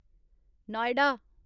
Noida